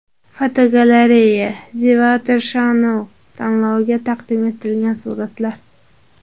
Fotogalereya: The Weather Channel tanloviga taqdim etilgan suratlar.